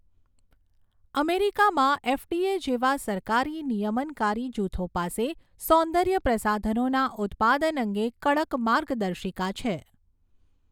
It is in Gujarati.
અમેરિકામાં એફડીએ જેવા સરકારી નિયમનકારી જૂથો પાસે સૌદર્ય પ્રસાધનોના ઉત્પાદન અંગે કડક માર્ગદર્શિકા છે.